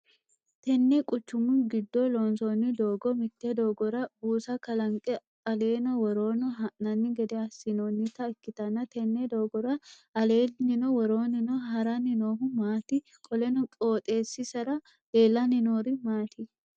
Tinni quchumu gido loonsoonni doogo mite doogora buusa kalanqe aleeno woroono ha'nanni gede asinoonita ikitanna tenne doogora aleenninno woroonninno haranni noohu maati? Qoleno qooxeesira leelanni noori maati?